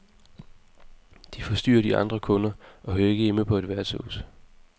De forstyrrer de andre kunder, og hører ikke hjemme på et værtshus.